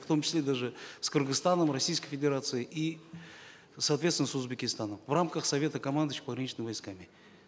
в том числе даже с кыргызстаном российской федерацией и соответственно с узбекистаном в рамках совета командующих пограничными войсками